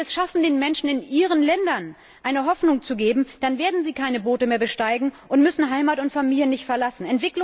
Wenn wir es schaffen, den Menschen in ihren Ländern eine Hoffnung zu geben, dann werden sie keine Boote mehr besteigen und müssen Heimat und Familie nicht verlassen.